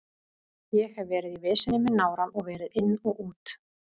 Ég hef verið í veseni með nárann og verið inn og út.